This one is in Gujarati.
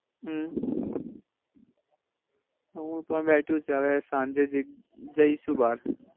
હમ હું પણ બેઠો છું હવે સાંજે જજઈસુ બાર.